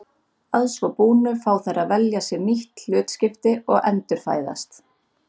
Að svo búnu fá þær að velja sér nýtt hlutskipti og endurfæðast.